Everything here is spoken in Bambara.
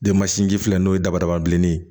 Denmansinji filɛ n'o ye dabada bilenni ye